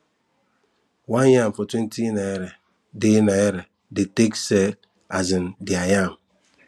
one yam for twenty naira de naira they take sell um their yam